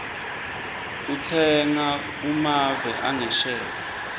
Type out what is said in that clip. utsenga kumave angesheya